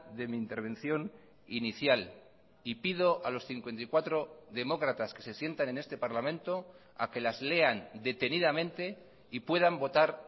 de mi intervención inicial y pido a los cincuenta y cuatro demócratas que se sientan en este parlamento a que las lean detenidamente y puedan votar